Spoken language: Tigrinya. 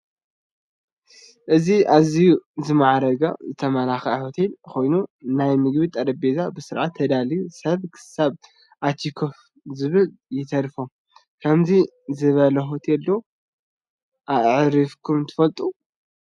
እዚ ኣዝዩ ዝማዕረገ ዝተማላከዐ ሆቴል ኮይኑ ናይ ምግቢ ጠረጰዛ ብስርዓት ተዳልዩ ሰብ ክሳብ ኣትዮ ኮፍ ምባይ ይተርፎ:: ከምዚ ዝበለ ሆቴል ዶ ኣዕሪፍኩም ትፈልጡ ?